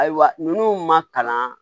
Ayiwa ninnu ma kalan